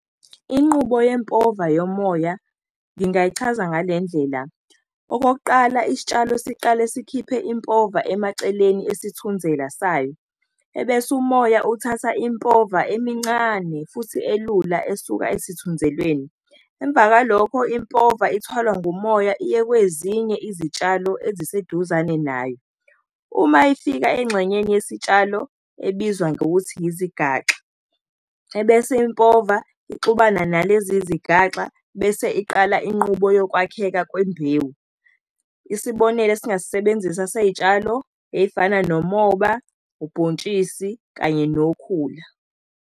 Inqubo yempova yomoya ngingayichaza ngale ndlela. Okokuqala, isitshalo siqale sikhiphe impova emaceleni isithunzela sayo, ebese umoya uthatha impova emincane futhi elula esuka esithunzelweni. Emva kwalokho, impova ithwalwa ngomoya iye kwezinye izitshalo eziseduzane nayo. Uma ifika engxanyeni yesitshalo ebizwa ngokuthi izigaxa, ebese impova ixubana nalezi zigaxa bese iqala inqubo yokwakheka kwembewu. Isibonelo esingasebenzisa sey'tshalo ey'fana nomoba, ubhontshisi kanye nokhula.